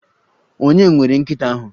Ònye nwere nkita ahu?